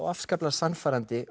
afskaplega sannfærandi